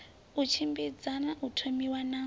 i tshimbidza u thomiwa na